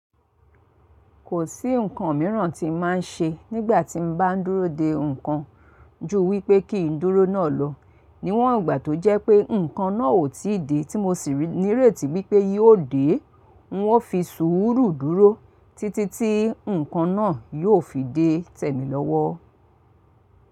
Kò sí ǹkan míràn tí ǹ má ń ṣe nígbà tí ǹ bá ń dúró de ǹkan, ju wípé kí ǹ dúró náà lọ. Níwọn ìgbà tó jẹ́ pé ǹkan náà ò tí ì dé tí mo sì ní rèètí wípé yíò dé. Ǹwọ́n fi sùúrù dúró títí tí ǹkan náà yóò fi dé tẹ́ mi lọ́wọ́.